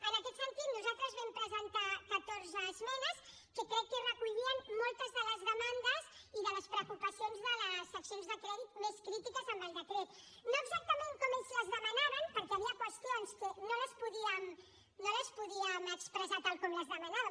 en aquest sentit nosaltres vam presentar catorze esmenes que crec que recollien moltes de les demandes i de les preocupacions de les seccions de crèdit més crítiques amb el decret no exactament com ells les demanaven perquè hi havia qüestions que no les podíem expressar tal com les demanaven